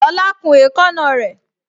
Lola kun èékánná rè